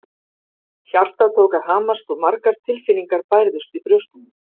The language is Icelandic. Hjartað tók að hamast og margar tilfinningar bærðust í brjóstinu.